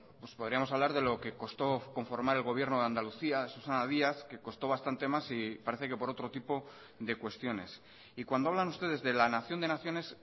pues podríamos hablar de lo que costó conformar el gobierno de andalucía susana díaz que costó bastante más y parece que por otro tipo de cuestiones y cuando hablan ustedes de la nación de naciones